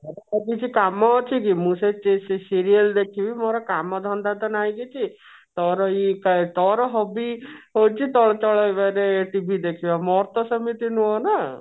କାମ ଅଛିକି ମୁଁ ସେଇ ସେଇ serial ଦେଖିବି ମୋର କାମ ଧନ୍ଦାତ ନାଇଁ କିଛି ତୋର ଏଇ ତୋର ଏଇ hobby ହଉଛି ଚଳଚିତ୍ର TV ଦେଖିବା ମୋର ତ ସେମିତି ନୁହ ନା